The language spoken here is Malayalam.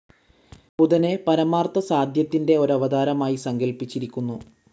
ബുധനെ, പരമാർത്ഥസാധ്യത്തിൻ്റെ ഒരവതാരമായി സങ്കൽപ്പിച്ചിരിക്കുന്നു.